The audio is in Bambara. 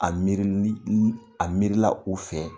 A miiri ni a miirila u fɛ